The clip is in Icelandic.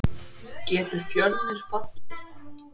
Getur Fjölnir fallið?